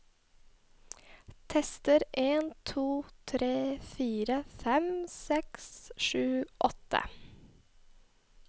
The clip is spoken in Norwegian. Tester en to tre fire fem seks sju åtte